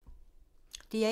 DR1